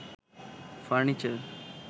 furniture